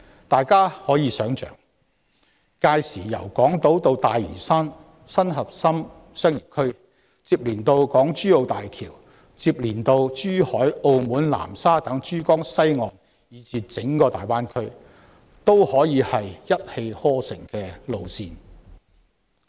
大家可以想象，屆時由港島至大嶼山新核心商業區，然後接連到港珠澳大橋、珠海、澳門、南沙等珠江西岸的地點以至整個大灣區，均是一氣呵成的幹道。